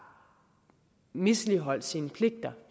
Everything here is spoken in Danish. misligholdt sine pligter